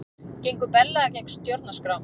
Gengur berlega gegn stjórnarskrá